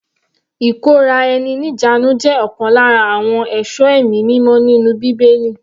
Ìkóra-ẹni-ní-ìjánu jẹ́ ọ̀kan lára àwọn èso ẹ̀mí mímọ́ nínú bíbélì.